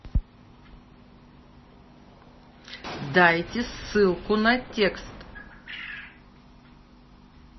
дайте ссылку на текст